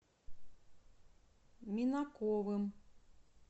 минаковым